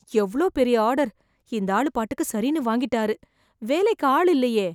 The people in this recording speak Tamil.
எவ்வளோ பெரிய ஆர்டர் இந்த ஆளு பாட்டுக்கு சரின்னு வாங்கிட்டாரு வேலைக்கு ஆள் இல்லையே